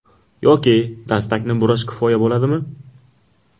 Yoki dastakni burash kifoya bo‘ladimi?